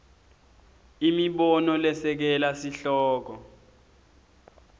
imibono lesekela sihloko